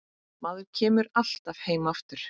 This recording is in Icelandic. Maður kemur alltaf heim aftur